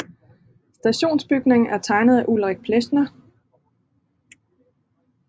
Stationsbygningen er tegnet af Ulrik Plesner